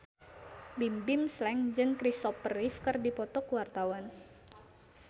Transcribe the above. Bimbim Slank jeung Kristopher Reeve keur dipoto ku wartawan